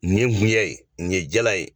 Nin ye gunjɛ ye nin ye jala ye.